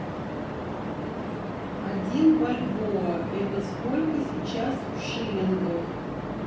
один бальбоа это сколько сейчас в шиллингах